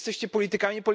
Jesteście politykami.